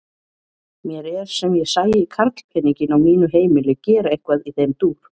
Mér er sem ég sæi karlpeninginn á mínu heimili gera eitthvað í þeim dúr!